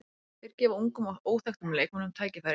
Þeir gefa ungum og óþekktum leikmönnum tækifæri.